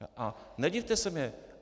A nedivte se mně.